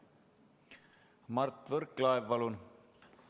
Mart Võrklaev, palun!